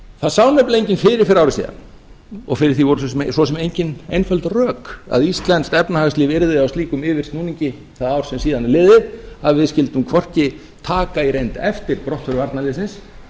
það sá nefnilega enginn fyrir fyrir ári síðan og fyrir því voru svo sem engin einföld rök að íslenskt efnahagslíf yrði á slíkum yfirsnúningi það ár sem síðan er liðið að við skyldum hvorki taka í reynd eftir brottför varnarliðsins